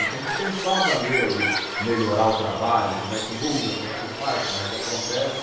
Ele tem que pensar a maneira de melhorar o trabalho, como é que muda, como é que faz, como é que acontece.